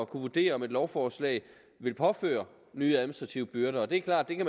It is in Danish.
kunne vurdere om et lovforslag vil påføre nye administrative byrder det er klart at